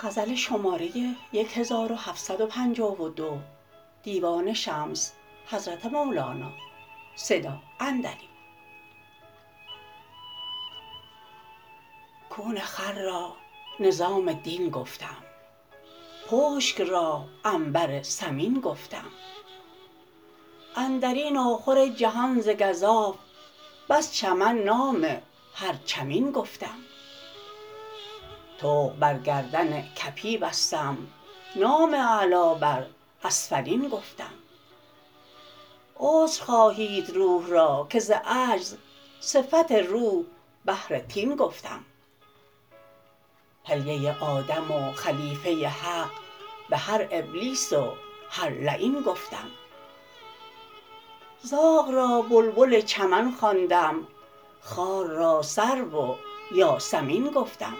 کون خر را نظام دین گفتم پشک را عنبر ثمین گفتم اندر این آخر جهان ز گزاف بس چمن نام هر چمین گفتم طوق بر گردن کپی بستم نام اعلا بر اسفلین گفتم عجز خواهید روح را که ز عجز صفت روح بهر طین گفتم حلیه آدم و خلیفه حق بهر ابلیس و هر لعین گفتم زاغ را بلبل چمن خواندم خار را سرو و یاسمین گفتم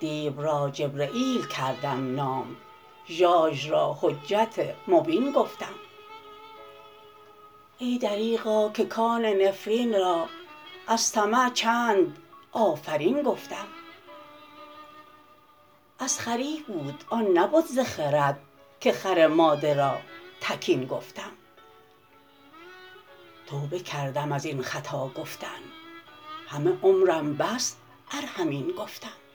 دیو را جبرییل کردم نام ژاژ را حجت مبین گفتم ای دریغا که کان نفرین را از طمع چند آفرین گفتم از خری بود آن نبد ز خرد که خر ماده را تکین گفتم توبه کردم از این خطا گفتن همه عمرم بس ار همین گفتم